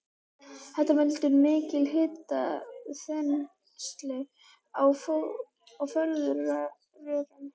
Þetta veldur mikilli hitaþenslu í fóðurrörum.